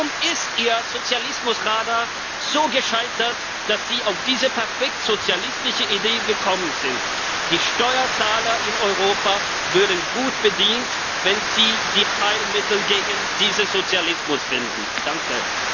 Warum ist Ihr Sozialismusradar so gescheitert, dass Sie auf diese perfekt sozialistische Idee gekommen sind? Die Steuerzahler in Europa wären gut bedient, wenn Sie das Heilmittel gegen diesen Sozialismus finden würden.